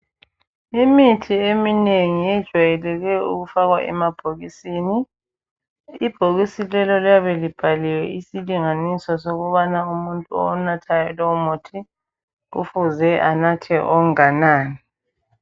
Imithi eminengi yejwayeleke ukufakwa emabhokisini. Ibhokisi lelo liyabe libhaliwe isilinganiso sokubana umuntu owunathayo lowu muthi kufuze anathe onganani.